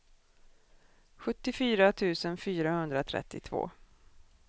sjuttiofyra tusen fyrahundratrettiotvå